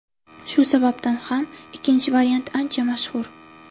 Shu sababdan ham ikkinchi variant ancha mashhur.